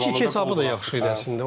2-2 hesabı da yaxşı idi əslində.